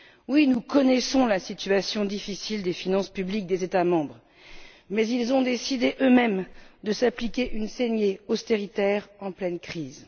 Oui, nous connaissons la situation difficile des finances publiques des États membres, mais ils ont décidé eux mêmes de s'appliquer une saignée austéritaire en pleine crise.